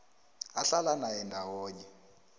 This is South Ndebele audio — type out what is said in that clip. ahlala naye ndawonye